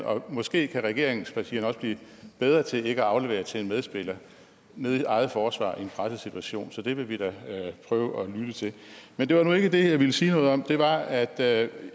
og måske kan regeringspartierne også blive bedre til ikke at aflevere til en medspiller nede i eget forsvar i en presset situation så det vil vi da prøve at lytte til men det var nu ikke det jeg ville sige noget om det var at jeg